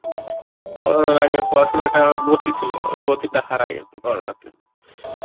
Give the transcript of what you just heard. Corona র আগে পড়াশুনার গতি ছিল, গতিটা হারায়ে গেছে Corona তে